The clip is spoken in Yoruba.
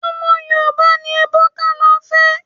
Ọmọ Yorùbá ni Ebuka lọ fẹ́.